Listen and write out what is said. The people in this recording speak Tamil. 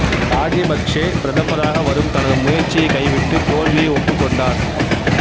ராசபக்ச பிரதமராக வரும் தனது முயற்சியைக் கைவிட்டு தோல்வியை ஒப்புக் கொண்டார்